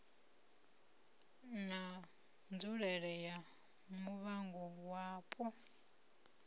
na nzulele ya muvhango wapo